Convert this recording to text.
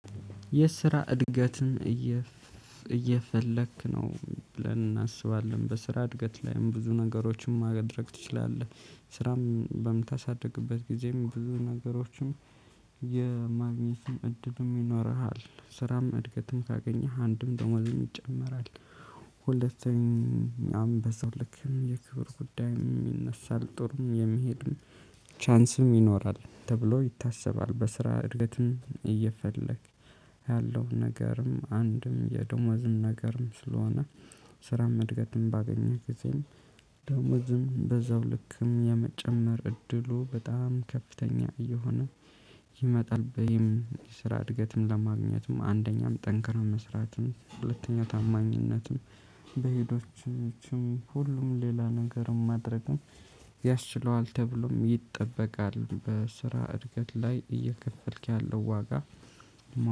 የስራ እድገትን? እየፈለክ ነው ብለን እናስባለን በስራ እድገት ላይም ብዙ ነገሮችን ማድረግ ትችላለህ ስራም በምታሳድግበት ጊዜም ብዙ ነገሮችንም የማግኘት እድሉ ይኖርሃል። ስራም እድገትም ካገኘህ አንድም ደሞዝም ይጨመራል። ሁለተኛም በዛው ልክ የክብር ጉዳይ ይነሳል ጥሩም የሚሄድን ቻንስም ይኖራል ተብሎ ይታሰባል። በስራ እድገትም እየፈለግክ ያለውን ነገርም አንድም የደሞዝም ነገርም ስለሆነ። ስራም እድገትም ባገኘህ ጊዜም ደሞዝም በዛው ልክም የመጨመር እድሉ በጣም ከፍተኛ እየሆነ ይመጣል። በይም ስራ እድገትም ለማግኘትም አንደኛም ጠንክራም መስራትም ሁለተኛ ታማኝነትም በሄዶችም ሁሉም ሌላ ነገርም ማድረግም ያስችለዋል ተብሎም ይጠበቃል። በስራ እድገት ላይ እየከፈልክ ያለው ዋጋ